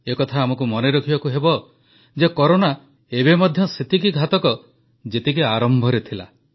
ଏକଥା ଆମକୁ ମନେରଖିବାକୁ ହେବ ଯେ କରୋନା ଏବେ ମଧ୍ୟ ସେତିକି ଘାତକ ଯେତିକି ଆରମ୍ଭରେ ଥିଲା